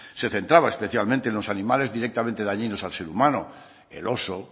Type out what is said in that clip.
se centraba especialmente en los animales directamente dañinos al ser humano el oso